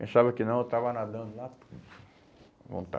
Eu pensava que não, eu estava nadando lá. À